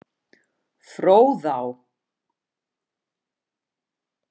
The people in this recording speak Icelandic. Fróðá